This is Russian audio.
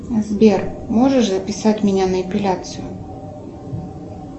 сбер можешь записать меня на эпиляцию